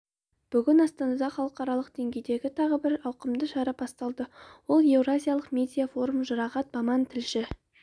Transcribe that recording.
бүгін астанада халықаралық деңгейдегі тағы бір ауқымды шара басталды ол еуразиялық медиа форум жұрағат баман тілші